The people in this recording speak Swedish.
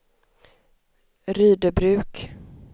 Rydöbruk